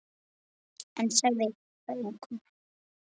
En sagði það engum.